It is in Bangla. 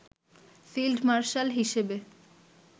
ফিল্ড মার্শাল হিসেবে